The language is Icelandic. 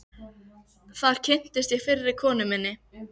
Þar kynntist ég fyrri konu minni